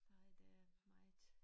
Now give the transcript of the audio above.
Nej der er meget